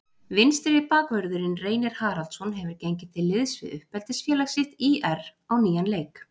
Vinstri bakvörðurinn Reynir Haraldsson hefur gengið til liðs við uppeldisfélag sitt ÍR á nýjan leik.